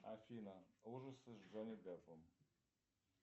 афина ужасы с джонни деппом